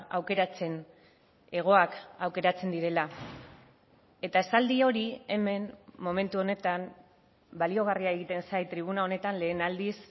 aukeratzen hegoak aukeratzen direla eta esaldi hori hemen momentu honetan baliagarria egiten zait tribuna honetan lehen aldiz